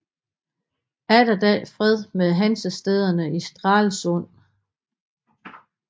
Atterdag fred med Hansestæderne i Stralsund